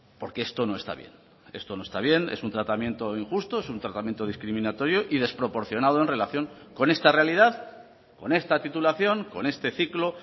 porque esto no está bien esto no está bien es un tratamiento injusto es un tratamiento discriminatorio y desproporcionado en relación con esta realidad con esta titulación con este ciclo